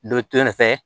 Dɔ to yen fɛ